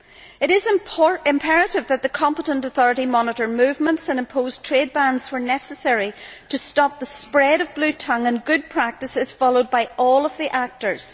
It is imperative that the competent authority monitor movements and impose trade bans where necessary to stop the spread of bluetongue and that good practice is followed by all of the actors.